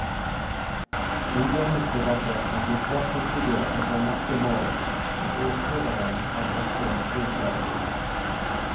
Underhusdebatter kan bli svært hissige etter norske mål, og ordstyreren har ofte en stri tørn.